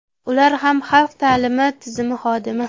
Ular ham xalq ta’limi tizimi xodimi.